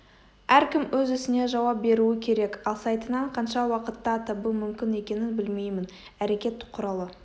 әркім өз ісіне жауап беруі керек ал сайтынан қанша уақытта табу мүмкін екенін білмеймін әрекет құралы